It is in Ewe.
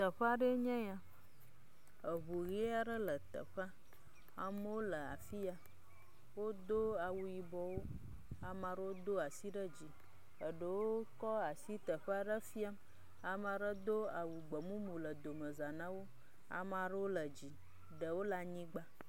Teƒea aɖee nye ya eŋu ʋi aɖe le teƒea amewo le afi ya wodo awo yibɔwo amaɖewo do asi ɖe dzi eɖewo kɔ asi teƒe aɖe fiam,. Ame aɖe do awu gbemumu le domeza na wo, ame aɖewo le dzi ɖewo le abnyigba.